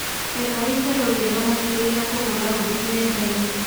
etha ĩtherũ riegaa makĩrĩa ria kuhura hodi nendaini